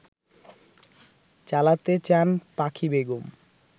চালাতে চান পাখি বেগম